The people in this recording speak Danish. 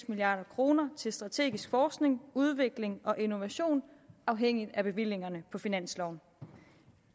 milliard kroner til strategisk forskning udvikling og innovation afhængigt af bevillingerne på finansloven